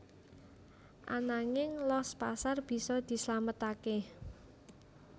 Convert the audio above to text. Ananging los pasar bisa dislametaké